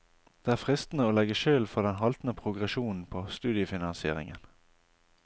Det er fristende å legge skylden for den haltende progresjonen på studiefinansieringen.